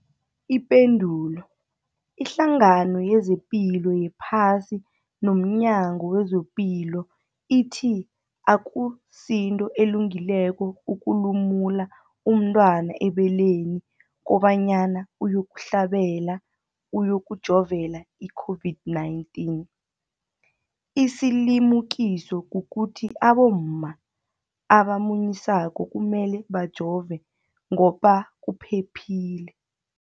Ipendulo, iHlangano yezePilo yePhasi nomNyango wezePilo ithi akusinto elungileko ukulumula umntwana ebeleni kobanyana uyokuhlabela, uyokujovela i-COVID-19. Isilimukiso kukuthi abomma abamunyisako kumele bajove ngoba kuphephile.